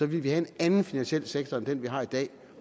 ville vi have en anden finansiel sektor end den vi har i dag